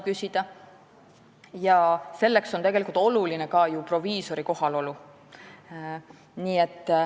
Sellepärast on tegelikult oluline ka proviisori kohaolu.